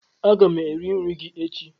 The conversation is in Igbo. Aga m eri nri gi echi